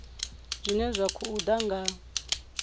zwine zwa khou ḓa nga